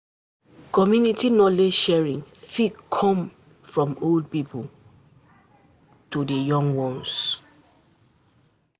Community knowledge sharing fit come um from old pipo to um di um young ones